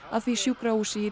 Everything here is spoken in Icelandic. að því sjúkrahúsi í